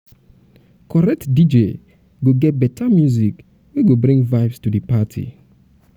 correct dj go get beta music wey go bring vibes to di party.